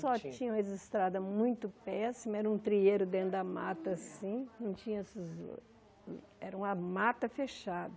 Só tinham registrado a muito péssimo, era um trieiro dentro da mata assim, não tinha esses... era uma mata fechada.